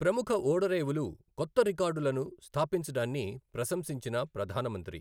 ప్రముఖ ఓడరేవులు కొత్త రికార్డులను స్థాపించడాన్ని ప్రశంసించిన ప్రధాన మంత్రి